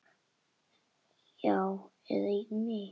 Já, eða mig?